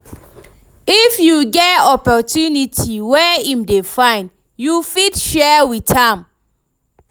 if yu get opportunity wey em dey find, yu fit share wit am